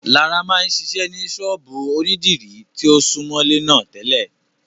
Lará máa ń ṣiṣẹ́ ní ṣọ́ọ̀bú ònídìrí tí ó súmọ́lé náà tẹ́lẹ̀